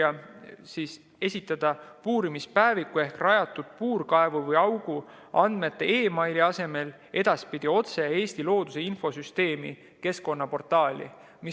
Nimelt saab edaspidi puurimispäeviku ehk rajatud puurkaevu või ‑augu andmeid esitada meili teel saatmise asemel otse Eesti looduse infosüsteemi keskkonnaportaali.